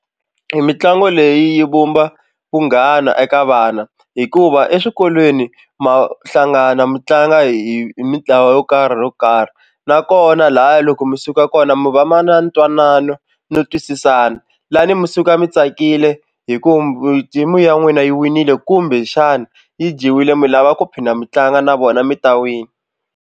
Mitlangu leyi yi vumba vunghana eka vana hikuva eswikolweni ma hlangana mi tlanga hi mitlawa yo karhi ro karhi nakona lahaya loko mi suka kona na mu va ma na ntwanano no twisisana lani mi suka mi tsakile hi ku team-u ya n'wina yi winile kumbe xana yi dyiwile mi lava ku phinda mi tlanga na vona mi ta wina.